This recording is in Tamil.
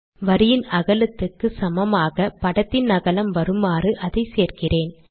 வரியின் அகலத்துக்கு சமமாக படத்தின் அகலம் வருமாறு அதை சேர்க்கிறேன்